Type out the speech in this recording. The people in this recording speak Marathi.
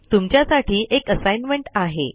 तुमच्यासाठी एक असाइनमेंट आहे